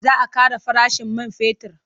Za a ƙara farashin man fetur.